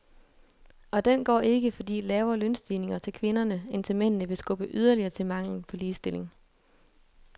Og den går ikke, fordi lavere lønstigninger til kvinderne end til mændene vil skubbe yderligere til manglen på ligestilling.